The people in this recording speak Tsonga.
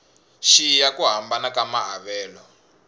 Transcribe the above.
xiya ku hambana ka maavelo